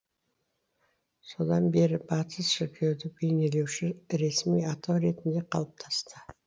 содан бері батыс шіркеуді бейнелеуші ресми атау ретінде қалыптасты